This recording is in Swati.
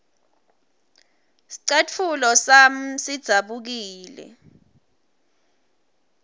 scatfulo sami sidzabukile